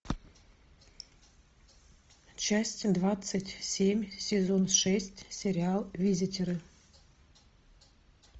часть двадцать семь сезон шесть сериал визитеры